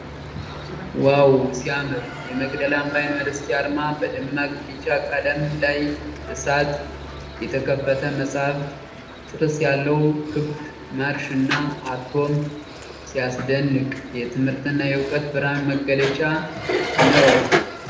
ዋው! ሲያምር! የመቅደላ አምባ ዩኒቨርሲቲ አርማ በደማቅ ቢጫ ቀለም ላይ እሳት፣ የተከፈተ መጽሐፍ፣ ጥርስ ያለው ክብ (ማርሽ) እና አቶም ። ሲያስደንቅ! የትምህርትና የዕውቀት ብርሃን መገለጫ ነው!